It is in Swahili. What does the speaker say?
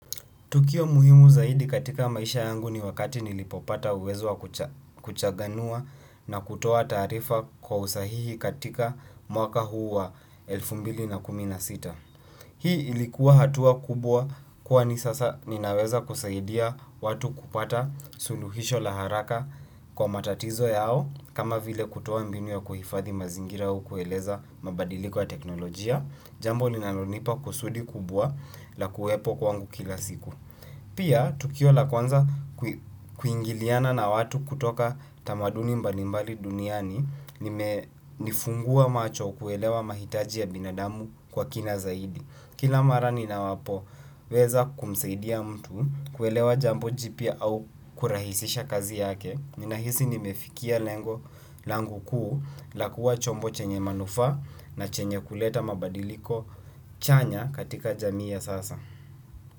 Tukio muhimu zaidi katika maisha yangu ni wakati nilipopata uwezo wa kuchanganua na kutoa taarifa kwa usahihi katika mwaka huu wa elfu mbili na kumi na sita. Hii ilikuwa hatua kubwa kwani sasa ninaweza kusaidia watu kupata suluhisho la haraka kwa matatizo yao kama vile kutoa mbinu ya kuhifadhi mazingira au kueleza mabadiliko ya teknolojia, jambo linalonipa kusudi kubwa la kuwepo kwangu kila siku. Pia, tukio la kwanza kuingiliana na watu kutoka tamaduni mbalimbali duniani, limenifungua macho kuelewa mahitaji ya binadamu kwa kina zaidi. Kila mara ninapoweza kumsaidia mtu kuelewa jambo jipya au kurahisisha kazi yake, ninahisi nimefikia lengo langu kuu la kuwa chombo chenye manufaa na chenye kuleta mabadiliko chanya katika jamii ya sasa.